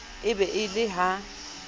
e be e le ha